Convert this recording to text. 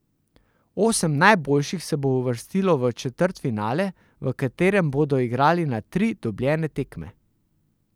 Osem najboljših se bo uvrstilo v četrtfinale, v katerem bodo igrali na tri dobljene tekme.